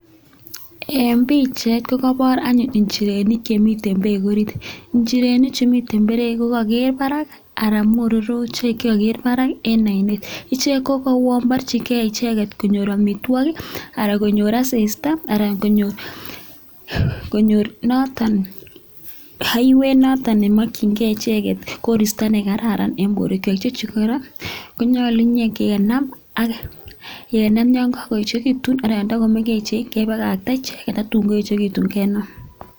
Eng pichait kokobor anyun inchirenik che miten beek orit, inchirenik chu miten beek ko kaker barak anan mororochik che kaker barak eng oinet ichegek ko uo borjinigei icheget konyor amitwogik ana konyor asista anan konyor noton aiwet noton ne makyingei icheget koristo ne kararan eng borwekwak. Chechu kora konyolu nyokenam ak nyokakoechekitu anan nda komengechen kebakakta icheget tatun kakoechekitu kenam.